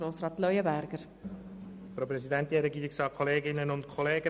Grossrat Leuenberger hat das Wort.